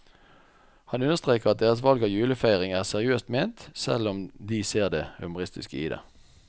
Han understreker at deres valg av julefeiring er seriøst ment, selv om de ser det humoristiske i det.